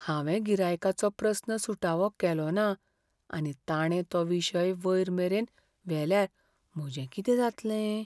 हांवें गिरायकाचो प्रस्न सुटावो केलो ना आनी ताणें तो विशय वयर मेरेन व्हेल्यार म्हजें कितें जातलें?